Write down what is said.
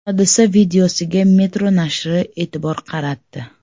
Hodisa videosiga Metro nashri e’tibor qaratdi .